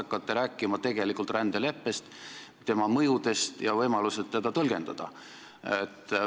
Kas te hakkate tegelikult rääkima rändeleppest, selle mõjudest ja võimalustest seda tõlgendada?